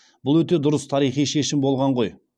бұл өте дұрыс тарихи шешім болған ғой